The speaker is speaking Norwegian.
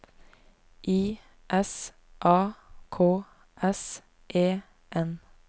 I S A K S E N